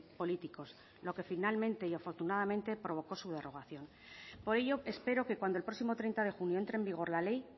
políticos lo que finalmente y afortunadamente provocó su derogación por ello espero que cuando el próximo treinta de junio entre en vigor la ley